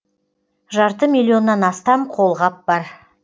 жарты миллионнан астам қолғап бар